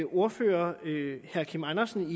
ordfører herre kim andersen